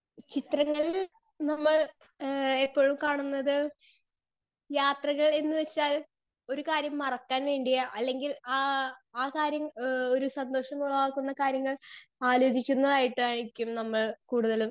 speaker 2 ചിത്രങ്ങളിൽ നമ്മൾ ഏഹ് ഏറ്റവും കാണുന്നത് യാത്രകൾ എന്ന് വെച്ചാൽ ഒരു കാര്യം മറക്കാൻ വേണ്ടിയോ അല്ലെങ്കിൽ ആ ആ കാര്യം എഹ് ഒരു സന്തോഷമുള്ളതാക്കുന്ന കാര്യങ്ങൾ ആലോചിക്കുന്നായിട്ടായിരിക്കും നമ്മൾ കൂടുതലും